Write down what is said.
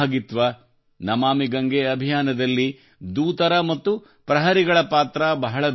ನಮಾಮಿ ಗಂಗೆ ಅಭಿಯಾನದಲ್ಲಿ ದೂತರು ಮತ್ತು ಪ್ರಹರಿಗಳ ಪಾತ್ರ ಬಹಳ ದೊಡ್ಡದಿದೆ